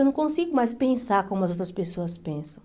Eu não consigo mais pensar como as outras pessoas pensam.